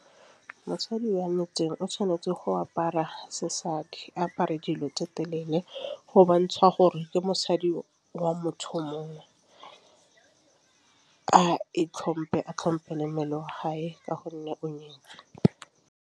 Mosadi wa motseng o tšhwanetse go apara sesadi apare dilo tse telele go bontšha gore ke mosadi wa motho mongwe. A itlhomphe, a tlhomphe le mmele wa hae ka gonne o nyetswe.